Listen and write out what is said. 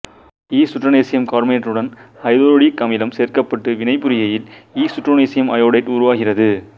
strontium கார்பனேட்டுடன் ஐதரயோடிக் அமிலம் சேர்க்கப்பட்டு வினைபுரிகையில் இசுட்ரோன்சியம் அயோடைடு உருவாகிறது